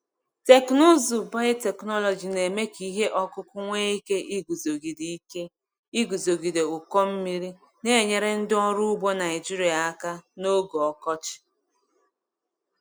Teknụzụ biotechnology na-eme ka ihe ọkụkụ nwee ike iguzogide ike iguzogide ụkọ mmiri, na-enyere ndị ọrụ ugbo Naijiria aka n’oge ọkọchị.